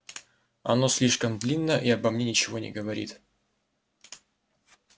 оно слишком длинно и ничего обо мне не говорит